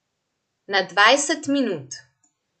Na dvajset minut.